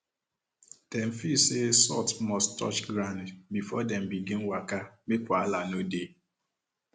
dem feel say salt must touch ground before dem begin waka make wahala no dey